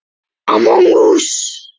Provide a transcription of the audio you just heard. Skerið út svampinn